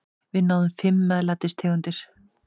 Við sjáum fimm MEÐLÆTIS tegundir.